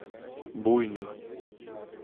буйный